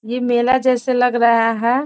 ये मेला जैसे लग रहा है।